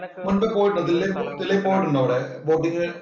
മുന്‍പ് പോയിട്ടുണ്ടോ പോയിട്ടുണ്ടോ അവിടെ?